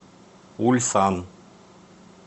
ульсан